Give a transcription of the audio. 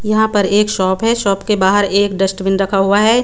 यहाँ पर एक शॉप है शॉप के बहार एक डस्टबिन रखा हुआ है।